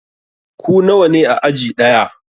Ku nawa ne a aji ɗaya?